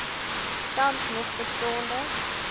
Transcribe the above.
tans nog bestaande